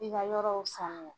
I ka yɔrɔw sanuya